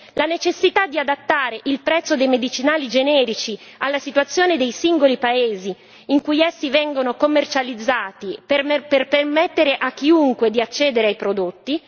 la necessità di adattare il prezzo dei medicinali generici alla situazione dei singoli paesi in cui essi vengono commercializzati per permettere a chiunque di accedere ai prodotti